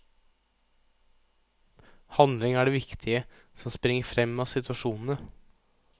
Handling er det viktige, som springer frem av situasjonene.